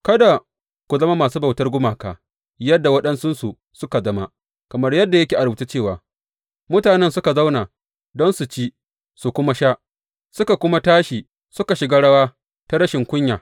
Kada ku zama masu bautar gumaka, yadda waɗansunsu suka zama; kamar yadda yake a rubuce cewa, Mutanen suka zauna don su ci su kuma sha, suka kuma tashi suka shiga rawa ta rashin kunya.